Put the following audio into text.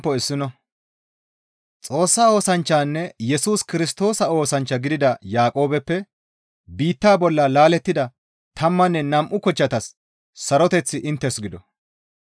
Xoossa oosanchchanne Yesus Kirstoosa oosanchcha gidida Yaaqoobeppe biitta bolla laalettida tammanne nam7u kochchatas saroteththi inttes gido.